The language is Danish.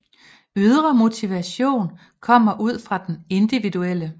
Ydre motivation kommer ude fra den individuelle